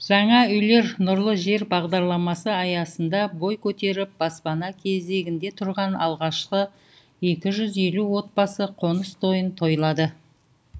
жаңа үйлер нұрлы жер бағдарламасы аясында бой көтеріп баспана кезегінде тұрған алғашқы екі жүз елу отбасы қоныс тойын тойлады